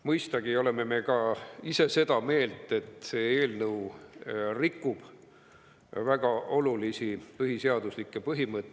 Mõistagi oleme me ka ise seda meelt, et see eelnõu rikub väga olulisi põhiseaduslikke põhimõtteid.